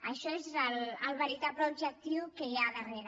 això és el veritable objectiu que hi ha al darrere